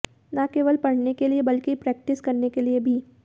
न केवल पढ़ने के लिए बल्कि प्रेक्टिस करने के लिए भी